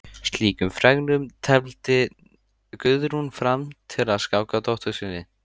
Slíkum fregnum tefldi Guðrún fram til að skáka dóttur sinni.